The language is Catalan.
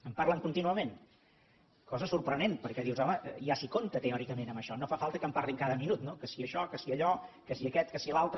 en parlen contínuament cosa sorprenent perquè dius home ja s’hi compta teòricament amb això no fa falta que en parlin cada minut no que si això que si allò que si aquest que si l’altre